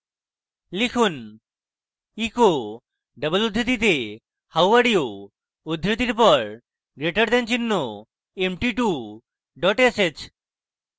লিখুন echo double উদ্ধৃতিতে how are you উদ্ধৃতির পর greater দেন চিহ্ন empty2 dot sh